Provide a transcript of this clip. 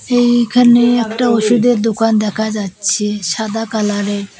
এইখানে একটা ওষুধের দোকান দেখা যাচ্ছে সাদা কালার এর।